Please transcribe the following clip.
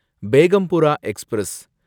Begampura express